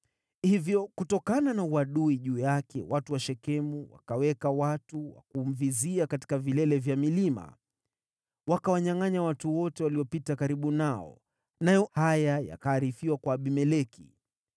Hivyo, kutokana na uadui juu yake watu wa Shekemu wakaweka watu wa kumvizia katika vilele vya milima. Wakawanyangʼanya watu wote waliopita karibu nao, nayo haya yakaarifiwa kwa Abimeleki.